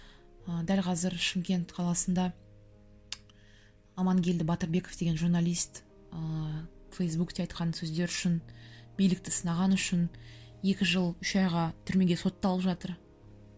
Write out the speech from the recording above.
ыыы дәл қазір шымкент қаласында амангелді батырбеков деген журналист ыыы фейсбукте айтқан сөздері үшін билікті сынағаны үшін екі жыл үш айға түрмеге сотталып жатыр